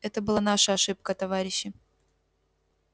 это была наша ошибка товарищи